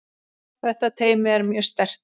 Þetta teymi er mjög sterkt.